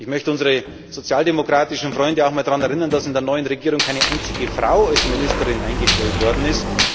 Ich möchte unsere sozialdemokratischen Freunde auch einmal daran erinnern, dass in der neuen Regierung keine einzige Frau als Ministerin eingestellt worden ist